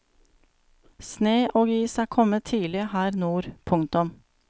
Sne og is er kommet tidlig her nord. punktum